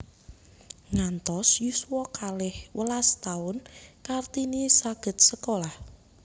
Ngantos yuswa kalih welas taun Kartini saged sekolah